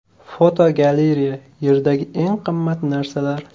Fotogalereya: Yerdagi eng qimmat narsalar.